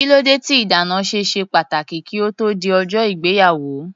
Kílódé tí ìdáná ṣe ṣe pàtàkì kí ó tó di ọjọ́ ìgbéyàwó?